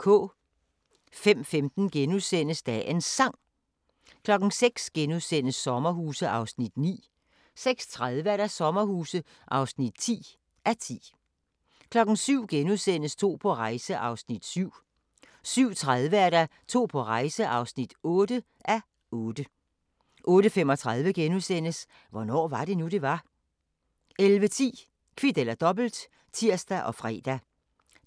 05:15: Dagens Sang * 06:00: Sommerhuse (9:10)* 06:30: Sommerhuse (10:10) 07:00: To på rejse (7:8)* 07:30: To på rejse (8:8) 08:35: Hvornår var det nu, det var? * 11:10: Kvit eller Dobbelt (tir og fre)